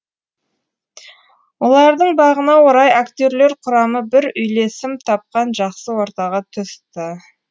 олардың бағына орай актерлер құрамы бір үйлесім тапқан жақсы ортаға түсті